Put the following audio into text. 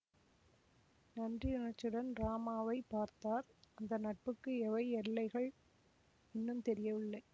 நன்றியுணர்ச்சியுடன் ராமாவைப் பார்த்தார் அந்த நட்புக்கு எவை எல்லைகள் இன்னும் தெரியவில்லை